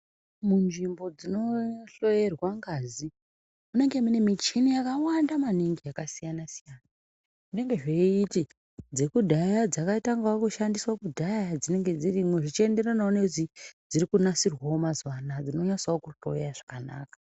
Munzvimbo dzino hloyerwa ngazi munenge mune michini yakawanda maningi yakasiyana siyana zvinenge zveiti dzekudhaya dzakatanga kushandiswawo kudhaya dzinenge dzirimo dzichienderanawo nedzirikunasirwawo mazuwanaya dzinonasawo kuhloya zvakanaka